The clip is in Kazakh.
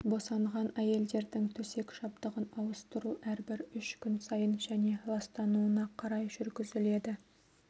босанған әйелдердің төсек жабдығын ауыстыру әрбір үш күн сайын және ластануына қарай жүргізіледі